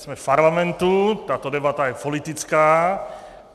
Jsme v Parlamentu, tato debata je politická.